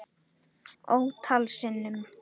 Ótal sinnum.